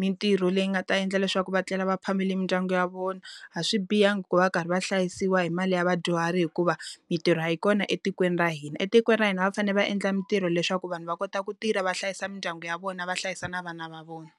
mintirho leyi nga ta endla leswaku va tlela va phamele mindyangu ya vona. A swi bihangi ku va va karhi va hlayisiwa hi mali ya vadyuhari hikuva, mintirho a yi kona etikweni ra hina. Etikweni ra hina va fanele va endla mintirho leswaku vanhu va kota ku tirha va hlayisa mindyangu ya vona va hlayisa na vana va vona.